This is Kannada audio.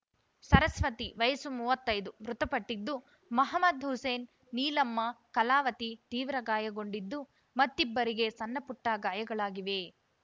ಸರಸ್ವತಿ ವಯಸ್ಸು ಮೂವತ್ತೈದು ಮೃತಪಟ್ಟಿದ್ದು ಮಹಮ್ಮದ್‌ ಹುಸೇನ್‌ ನೀಲಮ್ಮ ಕಲಾವತಿ ತೀವ್ರ ಗಾಯಗೊಂಡಿದ್ದು ಮತ್ತಿಬ್ಬರಿಗೆ ಸಣ್ಣಪುಟ್ಟಗಾಯಗಳಾಗಿವೆ